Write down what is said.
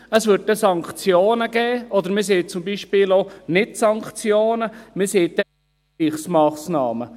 Es gäbe dann Sanktionen, oder man sagt zum Beispiel auch nicht Sanktionen, sondern Ausgleichsmassnahmen.